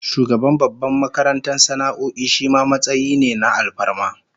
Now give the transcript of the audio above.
Shugaban babbar makarantar sana'o'i shima matsayi ne na alfarma